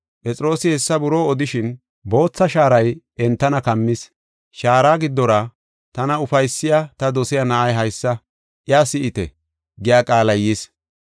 Phexroosi hessa buroo odishin bootha shaaray entana kammis. Shaara giddora, “Tana ufaysiya, ta dosiya na7ay haysa, iya si7ite!” giya qaalay yis.